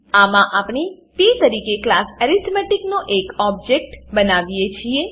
આમાં આપણે પ તરીકે ક્લાસ એરિથમેટિક નો એક ઓબજેક્ટ બનાવીએ છીએ